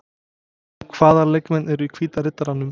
Hvaða leikmenn eru í Hvíta Riddaranum?